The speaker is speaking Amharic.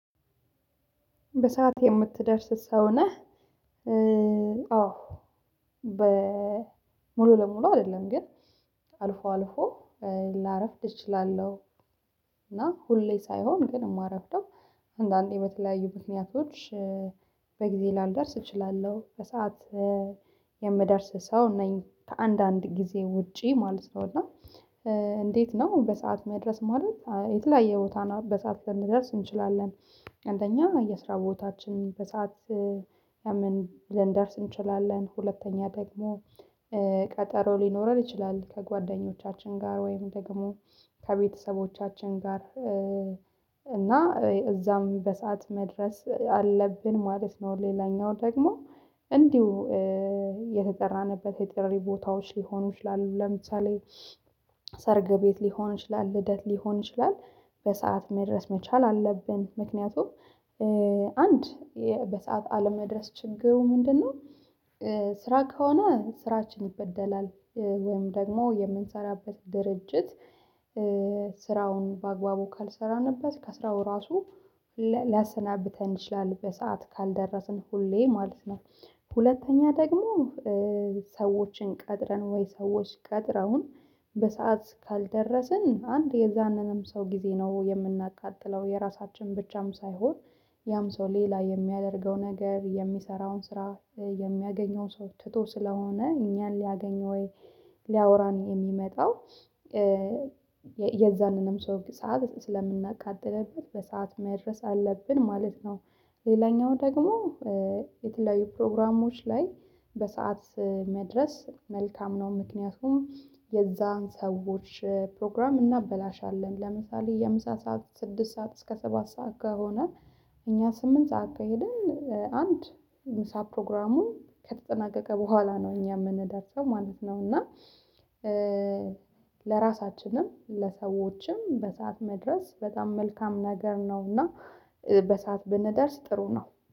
በሰአት የምትደርስ ሰው ነህ? አዎ ሙሉ ቀሙሉ አይደለም ግን አልፎ አልፎ ላረፍድ እችላለሁ እና ሁሌ ሳይሆን ግን የማረፍደው አንዳንዴ በተለያዩ ምክንያቶች በጊዜ ላልደርስ እችላለሁ በሰአት የምደርስ ሰው ነኝ ከአንዳንድ ጊዜ ውጪ ማለት ነው እና እንዴት ነው በሰአት መድረስ ማለት የተለያየ ቦታ በሰአት ልንደርስ እንችላለን አንደኛ የስራ ቦታችን በሰአት ልንደርስ እንችላለን ሁለተኛ ደግሞ ሊኖረን ይችላል ከጓደኞቻችን ጋር ወይም ደግሞ ከቤተሰቦቻችን ጋር እና እዛም በሰአት መድረስ አለብን ማለት ነው ሌላኛው ደግሞ እንዲሁ የተጠራንበት የጥሪ ቦታዎች ሊሆኑ ይችላሉ ለምሳሌ ሰርግ ቤት ሊሆን ይችላል ልደት ሊሆን ይችላል በሰአት መድረስ መቻል አለብን ምክንያቱም አንድ በሰአት አለመድረስ ችግሩ ምንድነው ስራ ከሆነ ስራችን ይበደላል ወይም ደግሞ የምንሰራበት ድርጅት ስራውን በአግባቡ ካልሰራንበት ከስራው ራሱ ሊያሰናብተን ይችላል በሰአት ካልደረስን ሁሌ ማለት ነው ሁለተኛ ደግሞ ሰዎችን ቀጥረን ወይም ሰዎች ቀጥረዉን በሰአት ካልደረስን አንድ የዛንንም ሰው ጊዜ ነው የምናቃጥለው የራሳችንን ብቻም ሳይሆን ያም ሰው ሌላ የሚያደርገው ነገር የሚሰራውን ስራ የሚያገኘውን ሰው ትቶ ስለሆነ እኛን ሊያገኝ ወይ ሊያወራን የሚመጣው የዛንንም ሰው ስዓት ስለምናቃጥልበት በሰአት መድረስ አለብን ማለት ነው ሌላኛው ደግሞ የተለያዩ ፕሮግራሞች ላይ በሰአት መድረስ መልካም ነው ምክንያቱም የነዚያን ሰዎች ፕሮግራም እናበላሻለን ለምሳሌ የምሳ ሰዓት ከስድስት ሰዓት እስከ ሰባት ሰዓት ከሆነ እኛ ስምንት ሰዓት ከሄድን አንድ ምሳ ፕሮግራሙ ከተጠናቀቀ በኋላ ነው እኛ የምንደርሰው ማለት ነው እና ለራሳችንም ለሰዎችም በሰአት መድረስ በጣም መልካም ነገር ነውና በሰአት ብንደርስ ጥሩ ነው